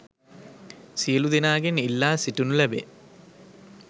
සියලු දෙනාගෙන් ඉල්ලා සිටිනු ලැබේ